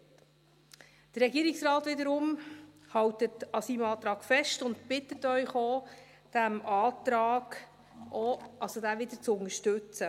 Der Regierungsrat wiederum hält an seinem Antrag fest und bittet Sie auch, diesen Antrag wieder zu unterstützen.